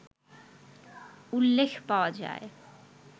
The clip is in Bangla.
উল্লেখ পাওয়া যায়